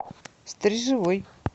стрежевой